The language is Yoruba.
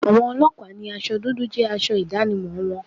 Àwọn ọlọ́pàá ni aṣọ dúdú jẹ́ aṣọ ìdánimọ̀ wọn.